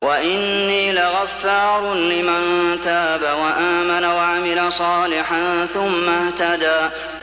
وَإِنِّي لَغَفَّارٌ لِّمَن تَابَ وَآمَنَ وَعَمِلَ صَالِحًا ثُمَّ اهْتَدَىٰ